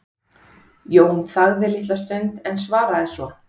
Jón þagði litla stund en svaraði svo